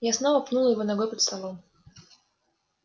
я снова пнула его ногой под столом